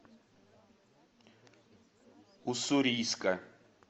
уссурийска